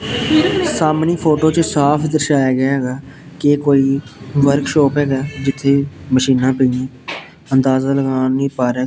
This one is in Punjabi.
ਸਾਹਮਣੀ ਫੋਟੋ ਵਿੱਚ ਸਾਫ ਦਰਸ਼ਾਇਆ ਗਿਆ ਹੈਗਾ ਕਿ ਇਹ ਕੋਈ ਵਾਰਕਸ਼ੋਪ ਹੈਗਾ ਜਿੱਥੇ ਮਸ਼ੀਨਾਂ ਪਈਆਂ ਅੰਦਾਜਾ ਲਗਾ ਨਹੀਂ ਪਾ ਰਿਹਾ --